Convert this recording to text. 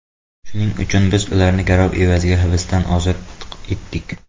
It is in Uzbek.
Shuning uchun biz ularni garov evaziga hibsdan ozod etdik.